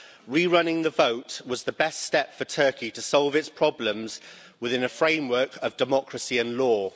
re running the vote was the best step for Turkey to solve its problems within a framework of democracy and law.